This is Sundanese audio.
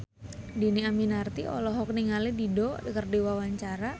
Dhini Aminarti olohok ningali Dido keur diwawancara